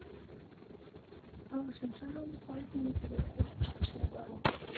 ал үшінші жолы пойыз немесе электричка арқылы бару